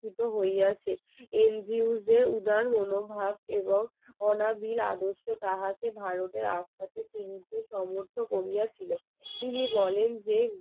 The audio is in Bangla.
মনোভাব এবং অনাবিল আদর্শ তাহাকে ভারতের আস্থাকে ফিরিতে সাহায্য করিয়াছিল তিনি বলেন যে